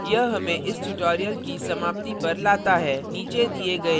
यह हमें इस tutorial की समाप्ति पर लाता है